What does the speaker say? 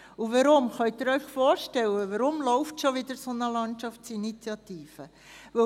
Und können Sie sich vorstellen, warum schon wieder eine solche Landschaftsinitiative läuft?